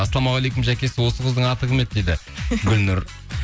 ассалаумағалейкум жәке осы қыздың аты кім еді дейді гүлнұр